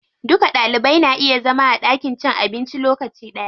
Duka Ɗalibai na iya zama a ɗakin cin abinci lokaci ɗaya.